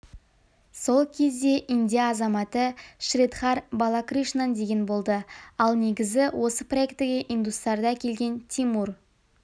сол кезде индия азаматы шридхар балакришнан деген болды ал негізі осы проектіге индустарды әкелген тимур